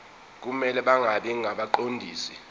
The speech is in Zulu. kumele bangabi ngabaqondisi